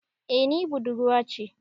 Eh ni budurwa ce.